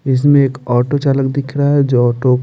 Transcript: इसमें एक ऑटो चालक दिख रहा है जो ऑटो --